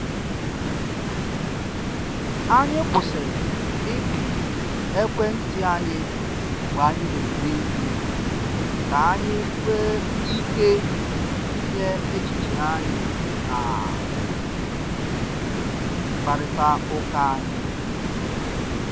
Anyị kwụsịrị ipi ekwentị anyị mgbe anyị na eri nri ka anyị wee ike tinye echiche anyị na mkparịta uka anyi